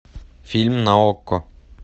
фильм на окко